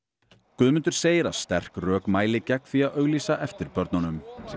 Guðmundur segir að sterk rök mæli gegn því að auglýsa eftir börnunum